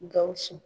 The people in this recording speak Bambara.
Gawusu